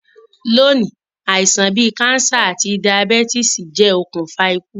Loní, àisàn bi cancer àti diabetes je okùnfà ikú